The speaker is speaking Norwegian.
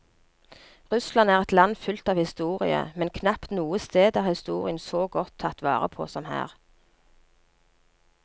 Russland er et land fullt av historie, men knapt noe sted er historien så godt tatt vare på som her.